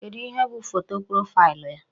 Kedu ihe bụ foto profaịlụ ya?